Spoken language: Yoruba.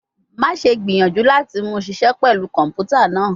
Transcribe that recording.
Maṣe gbiyanju lati mu ṣiṣẹ pẹlu kọnputa naa